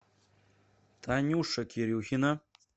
танюша кирюхина